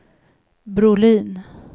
Brolin